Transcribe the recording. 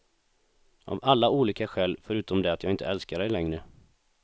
Av alla olika skäl, förutom det att jag inte älskar dig längre.